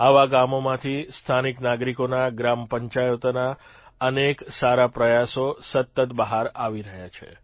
આવા ગામોમાંથી સ્થાનિક નાગરીકોના ગ્રામપંચાયતોના અનેક સારા પ્રયાસો સતત બહાર આવી રહ્યા છે